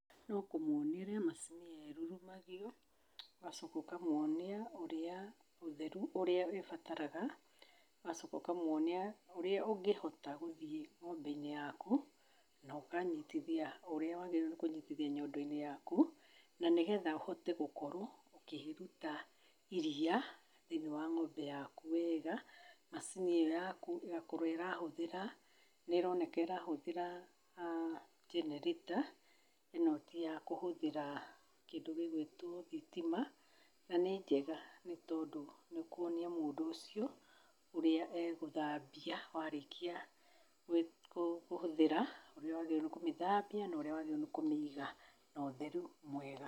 No kũmonia ũrĩa macini ĩyo ĩrurumagio ũgacoka ũkamonia ũrĩa ũtheru ũrĩa ĩbataraga, ũgacoka ũkamoni ũrĩa ũngĩhota gũthiĩ ng'ombe-inĩ yaku no ũkanyitithia ũrĩa wagĩrĩirwo nĩ kũnyitithia nyondo-inĩ yaku, na nĩgetha ũhote gũkorwo ũkĩruta iriia thĩinĩ wa ng'ombe yaku wega. Macini ĩyo yaku ĩgakorwo ĩrahũthĩra nĩ ĩroneka ĩrahũthĩra generator, ĩno ti ya kũhũthĩra kĩndũ gĩ gwĩtwo thitima na nĩ njega nĩ tondũ nĩũkuonia mũndũ ũcio ũrĩa egũthambia warĩkia kũhũthĩra, ũrĩa wagĩrĩirwo nĩ kũmĩthambia norĩa wagĩrĩirwo nĩ kũmĩiga no theru mwega.